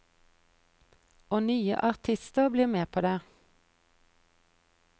Og nye artister blir med på det.